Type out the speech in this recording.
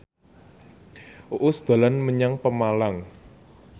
Uus dolan menyang Pemalang